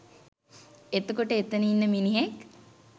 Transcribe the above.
එතකොට එතන ඉන්න මිනිහෙක්